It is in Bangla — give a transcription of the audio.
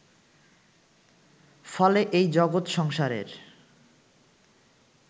ফলে এই জগৎ সংসারের